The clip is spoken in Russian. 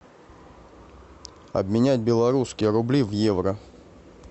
обменять белорусские рубли в евро